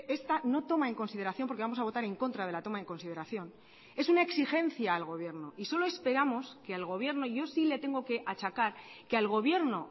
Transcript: esta no toma en consideración porque vamos a votar en contra de la toma en consideración es una exigencia al gobierno y solo esperamos que el gobierno yo si le tengo que achacar que al gobierno